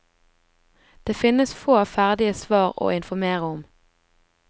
Det finnes få ferdige svar å informere om.